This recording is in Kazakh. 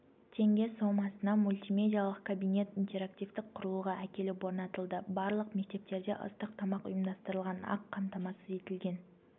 теңге сомасына мультимедиялық кабинет интерактивтік құрылғы әкеліп орнатылды барлық мектептерде ыстық тамақ ұйымдастырылған ақ қамтамасыз етілген